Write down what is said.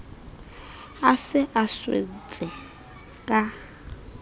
a se a swentse ka